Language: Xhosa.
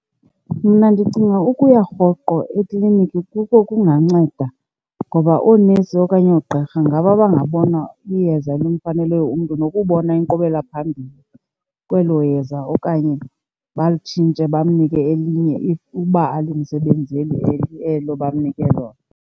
Mna ndicinga ukuya rhoqo ekliniki, kuko ekunganceda ngoba oonesi okanye oogqirha ngaboa bangabona iyeza elimfaneleyo umntu nokubona inkqubela phambili kwelo yeza okanye balitshintshe bamnike elinye if uba alimsebenzi elo bamnike lona.